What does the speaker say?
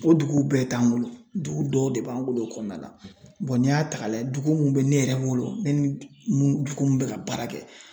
O duguw bɛɛ t'an bolo dugu dɔw de b'an bolo o kɔnɔna la n'i y'a ta k'a lajɛ dugu munnu bɛ ne yɛrɛ bolo ne ni mun dugu mun bɛ ka baara kɛ.